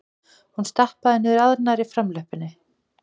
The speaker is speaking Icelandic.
Hún stappaði niður annarri framlöppinni.